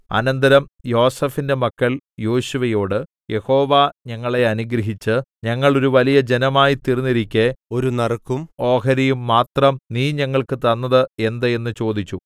അനന്തരം യോസേഫിന്റെ മക്കൾ യോശുവയോട് യഹോവ ഞങ്ങളെ അനുഗ്രഹിച്ച് ഞങ്ങൾ ഒരു വലിയ ജനമായി തീർന്നിരിക്കെ ഒരു നറുക്കും ഓഹരിയും മാത്രം നീ ഞങ്ങൾക്ക് തന്നത് എന്ത് എന്ന് ചോദിച്ചു